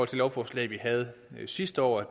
det lovforslag vi havde sidste år er